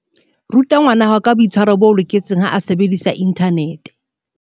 Ruta ngwanahao ka boitshwaro bo loketseng ha a sebedisa inthanete.